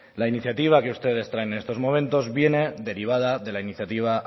la iniciativa que ustedes traen en estos momentos viene derivada de la iniciativa